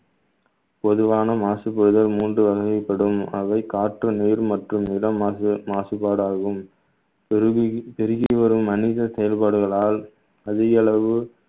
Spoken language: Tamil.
பொதுவான மாசுபடுதல் மூன்று வகைப்படும் அவை காற்று, நீர் மற்றும் இடம் மாசு~ மாசுபாடாகும் பெருகி பெருகி வரும் மனித செயல்பாடுகளால் அதிக அளவு